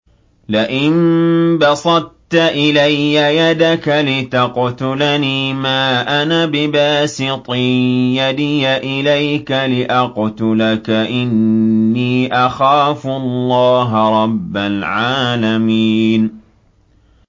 لَئِن بَسَطتَ إِلَيَّ يَدَكَ لِتَقْتُلَنِي مَا أَنَا بِبَاسِطٍ يَدِيَ إِلَيْكَ لِأَقْتُلَكَ ۖ إِنِّي أَخَافُ اللَّهَ رَبَّ الْعَالَمِينَ